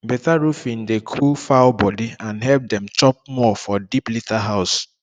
better roofing dey cool fowl body and help dem chop more for deep litter house